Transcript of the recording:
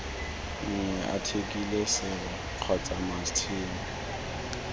nngwe athikele sere kgotsa matšhini